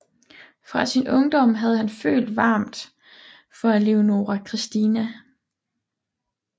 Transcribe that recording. Fra sin ungdom havde han følt varmt for Leonora Christina